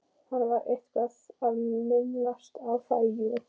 Hann var eitthvað að minnast á það, jú.